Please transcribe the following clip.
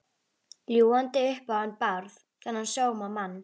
Ljúgandi upp á hann Bárð, þennan sómamann.